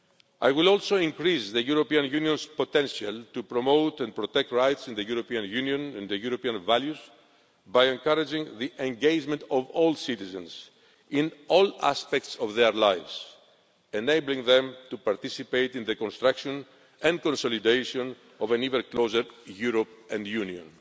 I will also increase the European Union's potential to promote and protect rights in the European Union and the European values by encouraging the engagement of all citizens in all aspects of their lives, enabling them to participate in the construction and consolidation of an even closer Europe and union.